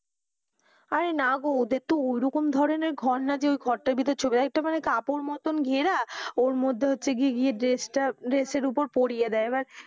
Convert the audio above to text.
আরে না গো ওদের তো ওরকম ধরণের ঘর না যে ওই ঘর তার ভিতরে ছবি, একটা মানে কাপড় মতন ঘেরা ওর মধ্যে হচ্ছে গিয়ে যে dress টা dress এর ওপর পরিয়ে দেয়